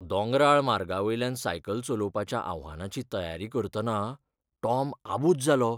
दोंगराळ मार्गावयल्यान सायकल चलवपाच्या आव्हानाची तयारी करतना टॉम आबुज जालो.